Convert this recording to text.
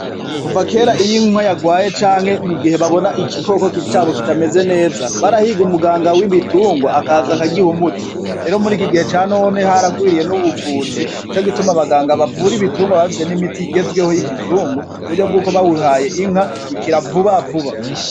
Kuva kera iyo inka yagwaye canke mu gihe babona ikikoko kicabo kitameze neza barahiga umuganga w'imitungwa akaza akagiha muti rero muri iki gihe ca none haragwiriye n'ubuvuzi nico gituma baganga bavura ibitungwa bafise n'imiti igezweho y'ikizungu ku buryo bw'uko bawihaye inka ikiravuba vuba.